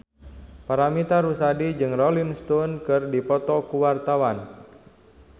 Paramitha Rusady jeung Rolling Stone keur dipoto ku wartawan